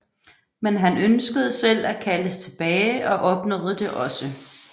Men han ønskede selv at kaldes tilbage og opnåede det også